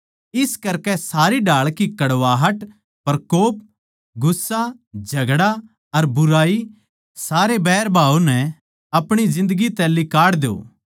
इस करकै सारी ढाळ की कड़वाहट प्रकोप गुस्सा झगड़ा अर बुराई सारे बैरभाव नै अपणी जिन्दगी तै लिकाड़ द्यो